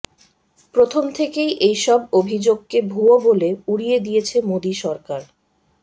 প্রথম থেকেই এইসব অভিযোগকে ভূয়ো বলে উড়িয়ে দিয়েছে মোদী সরকার